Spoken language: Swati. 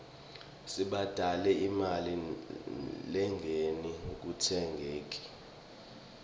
sibhadale imali lenengi ekutsengeni